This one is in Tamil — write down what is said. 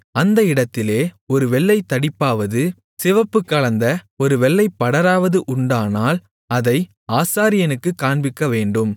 அந்த இடத்திலே ஒரு வெள்ளைத்தடிப்பாவது சிவப்புக் கலந்த ஒரு வெள்ளைப்படராவது உண்டானால் அதை ஆசாரியனுக்குக் காண்பிக்கவேண்டும்